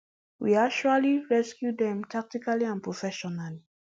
we actually rescue dem tactically and professionally